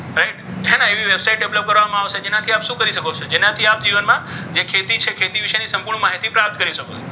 હે ને એવી website develop કરવામાં આવશે. જેનાથી તમે શું કરી શકો? તેનાથી તમે જીવનમાં જે ખેતી છે. ખેતી વિશેની સંપૂર્ણ માહિતી પ્રાપ્ત કરી શકો છો.